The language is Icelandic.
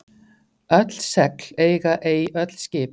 Öll segl eiga ei öll skip.